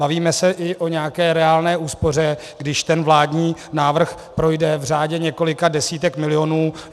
Bavíme se i o nějaké reálné úspoře, když ten vládní návrh projde, v řádech několika desítek milionů.